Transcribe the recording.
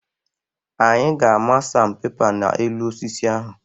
Anyị ga-amaa sanpepa n'elu osisi ahụ.